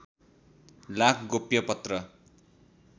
लाख गोप्य पत्र